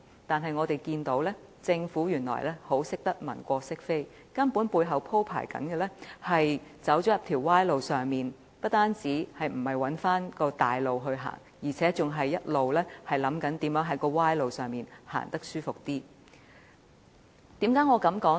但是，政府原來善於文過飾非，背後鋪設的根本是一條歪路，不單沒有設法返回正路，反而一直想辦法在歪路上走得舒服一點。